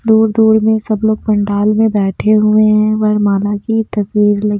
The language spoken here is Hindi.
दूर दूर में सब लोग पंडाल में बैठे हुए हैं वरमाला की तस्वीर लगी--